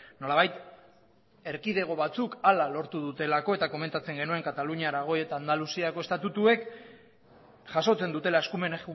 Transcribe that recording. nolabait erkidego batzuk hala lortu dutelako eta komentatzen genuen katalunia aragoi eta andaluziako estatutuek jasotzen dutela eskumen